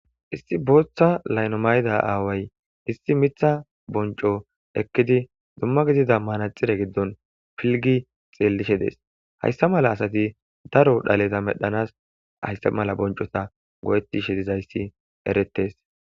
Issi booththa maayo maayida aaway issi miththa boncco ekidi dumma gidida manaxire giddon piligishe de'etees. Hayssa mala asati daro dhaleza medhdhanas hayssa mala oththizayssi eretees.